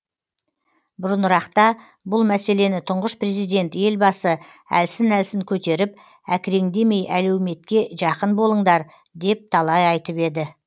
бұрынырақта бұл мәселені тұңғыш президент елбасы әлсін әлсін көтеріп әкіреңдемей әлеуметке жақын болыңдар деп талай айтып еді